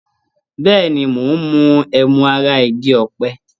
Bẹ́ẹ̀ni, mo ń mu ẹmu ara igi ọ̀pẹ.